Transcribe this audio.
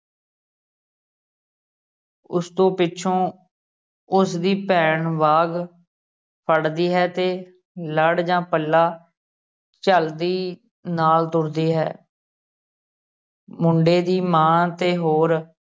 ਉਸ ਤੋਂ ਪਿੱਛੋਂ ਉਸਦੀ ਭੈਣ ਵਾਗ ਫਰਦੀ ਹੈ ਤੇ ਲੜ ਜਾ ਪੱਲਾ ਝੱਲਦੀ ਨਾਲ ਤੁਰਦੀ ਹੈ ਮੁੰਡੇ ਦੀ ਮਾਂ ਤੇ ਹੋਰ